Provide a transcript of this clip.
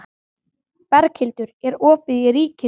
Berghildur, er opið í Ríkinu?